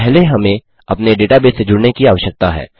पहले हमें अपने डेटाबेस से जुड़ने की आवश्यकता है